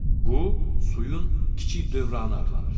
Bu, suyun kiçik dövranı adlanır.